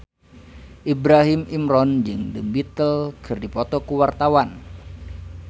Ibrahim Imran jeung The Beatles keur dipoto ku wartawan